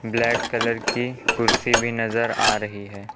Black colour की कुर्सी भी नजर आ रही हैं।